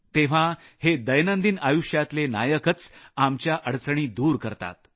तेव्हा हे दैनंदिन आयुष्यातले नायकच आमच्या अडचणी दूर करतात